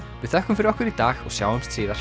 við þökkum fyrir okkur í dag og sjáumst síðar